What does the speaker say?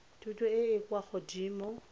thuto e e kwa godimo